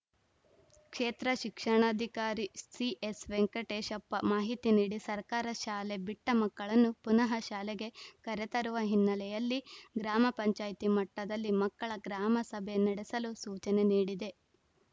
ಕ್ಷೇತ್ರ ಶಿಕ್ಷಣಾಧಿಕಾರಿ ಸಿಎಸ್‌ವೆಂಕಟೇಶಪ್ಪ ಮಾಹಿತಿ ನೀಡಿ ಸರ್ಕಾರ ಶಾಲೆ ಬಿಟ್ಟಮಕ್ಕಳನ್ನು ಪುನಃ ಶಾಲೆಗೆ ಕರೆತರುವ ಹಿನ್ನೆಲೆಯಲ್ಲಿ ಗ್ರಾಮ ಪಂಚಾಯಿತಿ ಮಟ್ಟದಲ್ಲಿ ಮಕ್ಕಳ ಗ್ರಾಮ ಸಭೆ ನಡೆಸಲು ಸೂಚನೆ ನೀಡಿದೆ